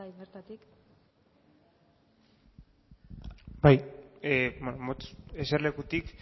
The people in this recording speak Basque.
bai bertatik bai motz eserlekutik